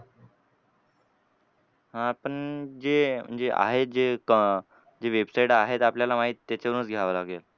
हां पण जे म्हणजे आहे जे क जे website आहेत आपल्याला माहित त्याच्यावरूनच घ्यावं लागेल.